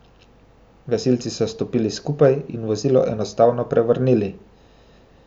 Gasilci so stopili skupaj in vozilo enostavno prevrnili.